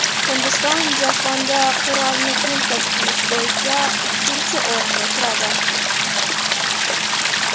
Hindiston jahonda qurolni import qilish bo‘yicha ikkinchi o‘rinda turadi.